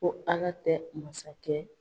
Ko ALA tɛ masakɛ